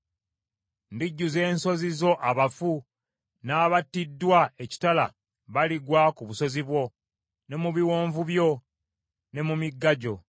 Ndijjuza ensozi zo abafu, n’abattiddwa ekitala baligwa ku busozi bwo, ne mu biwonvu byo, ne mu migga gyo.